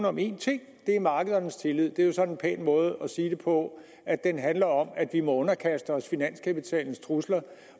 om én ting markedernes tillid det er så en pæn måde at sige på at den handler om at vi må underkaste os finanskapitalens trusler